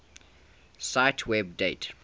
cite web date